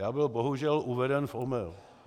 Já byl bohužel uveden v omyl.